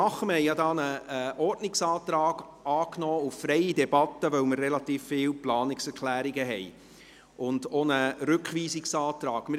Wir haben hierzu ja einen Ordnungsantrag auf freie Debatte angenommen, weil wir relativ viele Planungserklärungen und auch einen Rückweisungsantrag haben.